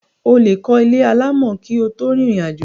o lè kọ́ ilé alámọ̀ kí o tó rìnrìn àjò.